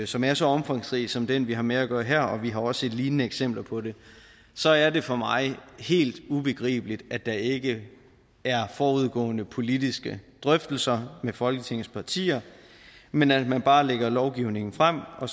som er så omfangsrig som den vi har med at gøre her og vi har også set lignende eksempler på det så er det for mig helt ubegribeligt at der ikke er forudgående politiske drøftelser med folketingets partier men at man bare lægger lovgivningen frem og